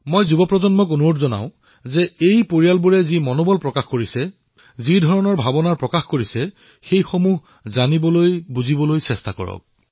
মই তৰুণ প্ৰজন্মক অনুৰোধ কৰিম যে এই পৰিয়ালসকলে যি সাহস প্ৰদৰ্শন কৰিছে যি ভাৱনা প্ৰকট কৰিছে সেয়া জনাৰ প্ৰয়াস কৰক